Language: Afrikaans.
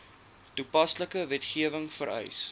toepaslike wetgewing vereis